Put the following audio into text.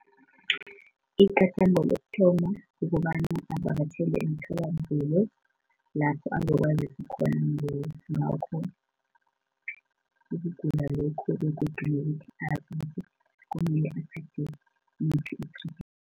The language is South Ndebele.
Igadango lokuthoma kukobana avakatjhele emtholampilo, lapho azokwaziswa khona ngakho ukugula lokhu begodu nokuthi azibonyana kumele athathe yiphi i-treatment